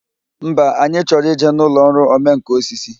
Mba, anyị chọrọ ịje n'ụlọ ọrụ omenkà osisi